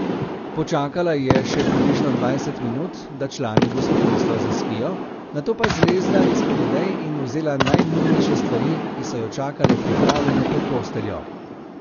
Počakala je še približno dvajset minut, da člani gospodinjstva zaspijo, nato pa zlezla izpod odej in vzela najnujnejše stvari, ki so jo čakale pripravljene pod posteljo.